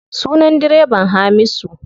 Sunan direban Hamisu.